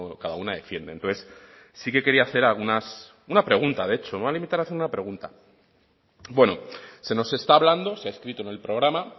cada una defiende entonces sí que quería hacer algunas una pregunta de hecho me voy a limitar a hacer una pregunta bueno se nos está hablando se ha escrito en el programa